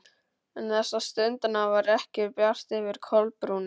En þessa stundina var ekki bjart yfir Kolbrúnu.